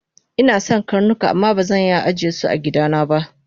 Inason karnuka amma bazan iya ajesu agidana ba